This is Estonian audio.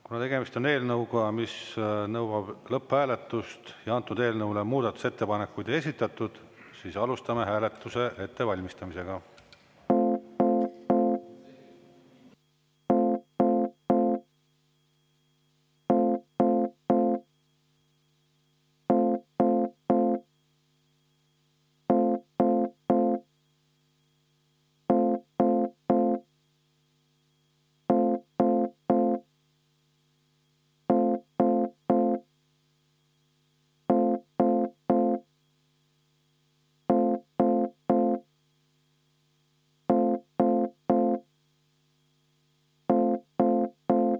Kuna tegemist on eelnõuga, mis nõuab lõpphääletust ja antud eelnõule muudatusettepanekuid ei esitatud, siis alustame hääletuse ettevalmistamisega.